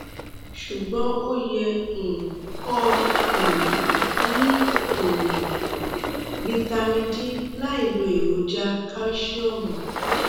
ṣùgbọ́n ó yẹ um kọ́ ọ um mú um vitamin d láì lo èròjà kálṣíọ̀mù